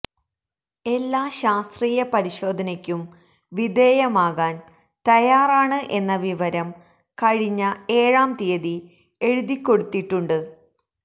എല്ലാ ശാസ്ത്രീയ പരിശോധനയ്ക്കും വിധേയമാകാൻ തയാറാണ് എന്ന വിവരം കഴിഞ്ഞ ഏഴാം തീയതി എഴുതിക്കൊടുത്തിട്ടുണ്ട്